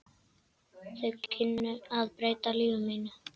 Þau kynni breyttu mínu lífi.